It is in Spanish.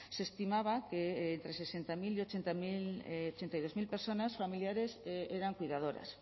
se estimaba que entre sesenta mil y ochenta y dos mil personas familiares eran cuidadoras